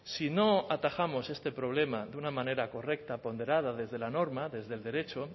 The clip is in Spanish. si no atajamos este problema de una manera correcta ponderada desde la norma desde el derecho